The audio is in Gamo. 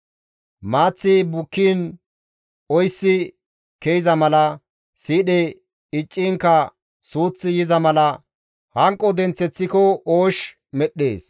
Maaththi bukkiin oysi ke7iza mala, siidhe iccinkka suuththi yiza mala hanqo denththeththiko oosh medhdhees.»